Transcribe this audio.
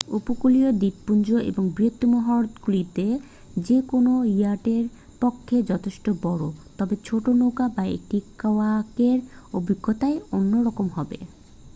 উপকূলীয় দ্বীপপুঞ্জ এবং বৃহত্তম হ্রদগুলিতে যে কোনও ইয়াটের পক্ষে যথেষ্ট বড় তবে ছোট নৌকা বা একটি কায়াকের অভিজ্ঞতাই অন্যরকম হবে